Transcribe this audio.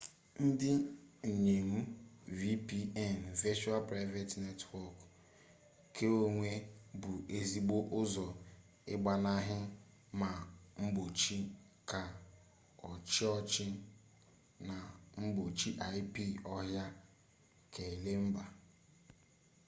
ndị nnyem vpn virtual private network keonwe bụ ezigbo ụzọ ịgbanaha ma mgbochi ke ọchiọhcị na mgbochi ip ọha keala mba